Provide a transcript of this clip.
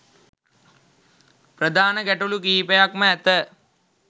ප්‍රධාන ගැටලු කිහිපයක්ම ඇත.